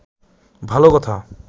ভালো কথা